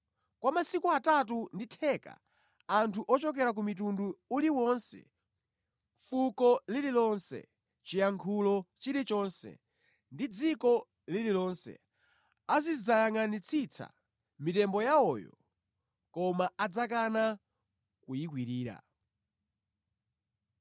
Kwa masiku atatu ndi theka, anthu ochokera ku mtundu uliwonse, fuko lililonse, chiyankhulo chilichonse ndi dziko lililonse, azidzayangʼanitsitsa mitembo yawoyo koma adzakana kuyikwirira.